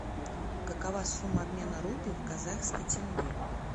какова сумма обмена рупий в казахский тенге